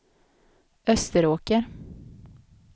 Österåker